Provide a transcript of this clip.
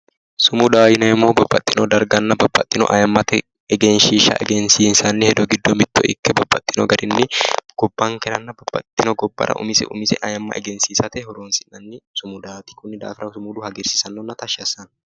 Sumudaho yineemmohu babbaxino darganna, babbaxino ayimmate egenshishsha egensiissanni hedo giddo mitto ikke babbaxino garinni gabbankeranna babbaxitino gobbara umise umise ayimma egensiissate horonsi'nanni sumudati konni daafira lowo geeshsha hagiirsiisanonna tashshi assano.